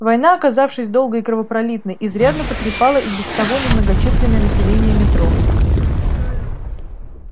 война оказавшись долгой и кровопролитной изрядно потрепала и без того немногочисленное население метро